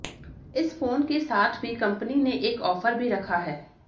इस फोन के साथ भी कंपनी ने एक ऑफर भी रखा है